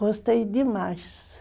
Gostei demais.